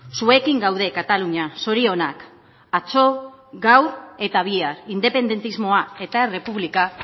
zuekin gaude katalunia zorionak atzo gaur eta bihar independentismoa eta errepublika